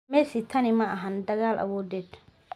Messi tani maahan dagaal awoodeed.